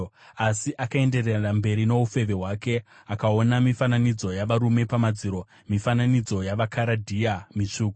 “Asi akaenderera mberi noufeve hwake. Akaona mifananidzo yavarume pamadziro, mifananidzo yavaKaradhea mitsvuku,